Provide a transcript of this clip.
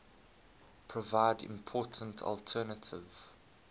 provide important alternative